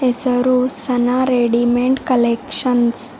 ಹೆಸರು ಸನ readymade collection --